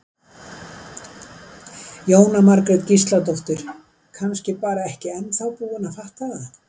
Jóhanna Margrét Gísladóttir: Kannski bara ekki ennþá búin að fatta það?